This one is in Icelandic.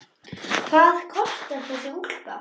Hvað kostar þessi úlpa?